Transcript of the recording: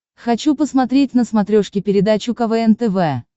хочу посмотреть на смотрешке передачу квн тв